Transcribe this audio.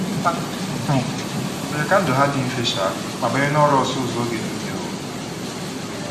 Ha um mere ka ndụ ha dị mfe um ma banye n'ọrụ ọsụ ụzọ oge nile um.